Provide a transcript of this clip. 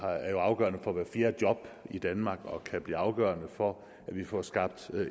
jo afgørende for hvert fjerde job i danmark og kan blive afgørende for at vi får skabt